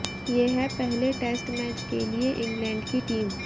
ये है पहले टेस्ट मैच के लिए इंग्लैंड की टीम